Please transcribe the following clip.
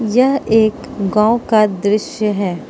यह एक गांव का दृश्य है।